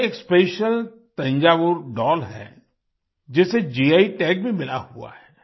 यह एक special Thanjavur doll है जिसे गी टैग भी मिला हुआ है